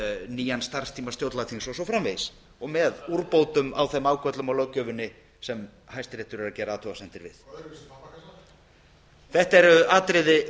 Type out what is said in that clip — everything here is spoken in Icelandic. nýjan starfstíma stjórnlagaþings og svo framvegis og með úrbótum á þeim ágöllum á löggjöfinni sem hæstiréttur er að gera athugasemdir við